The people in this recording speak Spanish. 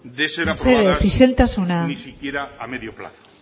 de ser aprobadas mesedez isiltasuna ni siquiera a medio plazo